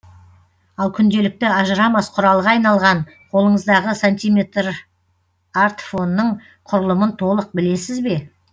ал күнделікті ажырамас құралға айналған қолыңыздағы сантиметрартфонның құрылымын толық білесіз бе